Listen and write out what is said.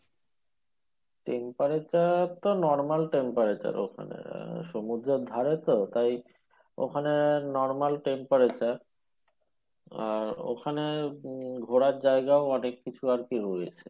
temperature তো normal temperature ওখানে আর সমুদ্রের ধারে তো তাই ওখানে normal temperature আর ওখানে উম ঘোরার জায়গাও অনেক কিছু আরকি রয়েছে